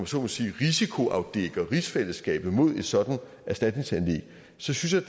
så må sige risikoafdækker rigsfællesskabet mod et sådant erstatningssagsanlæg synes jeg